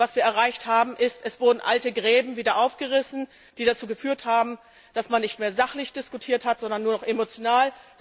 Was wir erreicht haben, ist, dass alte Gräben wieder aufgerissen wurden, was dazu geführt hat, dass man nicht mehr sachlich diskutiert hat, sondern nur noch emotional.